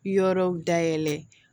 Yɔrɔw dayɛlɛ